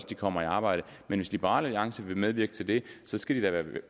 de kommer i arbejde og hvis liberal alliance vil medvirke til det skal skal de da være